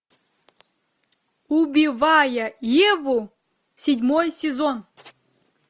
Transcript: убивая еву седьмой сезон